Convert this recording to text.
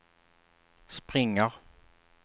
springer